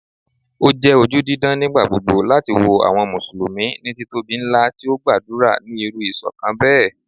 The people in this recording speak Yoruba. O jẹ oju didan nigbagbogbo lati wo awọn Musulumi ni titobi nla ti o gbadura ni iru iṣọkan bẹ